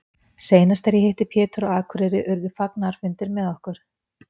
Seinast þegar ég hitti Pétur á Akureyri urðu fagnaðarfundir með okkur.